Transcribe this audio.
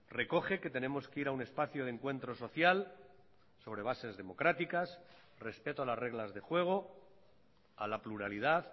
recoge que tenemos que ir a un espacio de encuentro social sobre bases democráticas respeto a las reglas de juego a la pluralidad